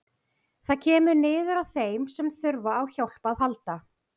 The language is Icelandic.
Það kemur niður á þeim sem þurfa á hjálp að halda.